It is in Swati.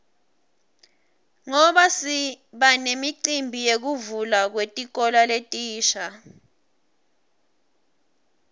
ngoba sibanemicimbi yekuvulwa kwetikolo letisha